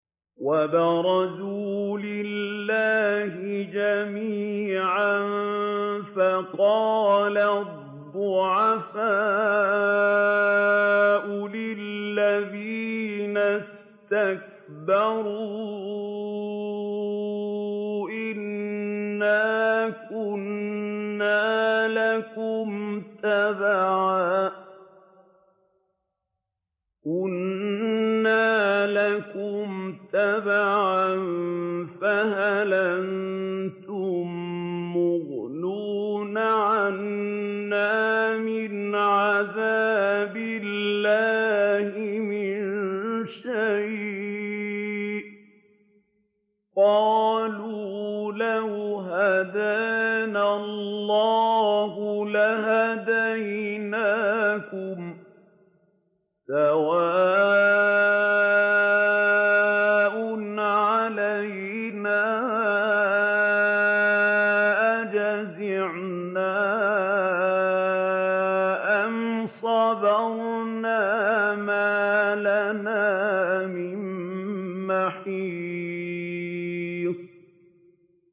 وَبَرَزُوا لِلَّهِ جَمِيعًا فَقَالَ الضُّعَفَاءُ لِلَّذِينَ اسْتَكْبَرُوا إِنَّا كُنَّا لَكُمْ تَبَعًا فَهَلْ أَنتُم مُّغْنُونَ عَنَّا مِنْ عَذَابِ اللَّهِ مِن شَيْءٍ ۚ قَالُوا لَوْ هَدَانَا اللَّهُ لَهَدَيْنَاكُمْ ۖ سَوَاءٌ عَلَيْنَا أَجَزِعْنَا أَمْ صَبَرْنَا مَا لَنَا مِن مَّحِيصٍ